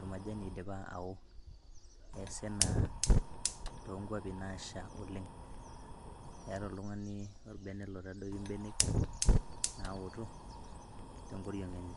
ormajani oidipa ao. Neasi ena too nkwapi naasha oleng , eeta oltungani orbene loitadoiki imbenek naotok tenkoriong enye.